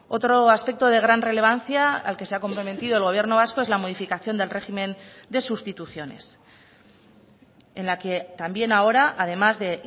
otro aspecto de gran relevancia al que se ha comprometido el gobierno vasco es la modificación del régimen de sustituciones en la que también ahora además de